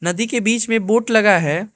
नदी के बीच में बोट लगा है।